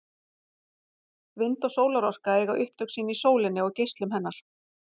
Vind- og sólarorka eiga upptök sín í sólinni og geislum hennar.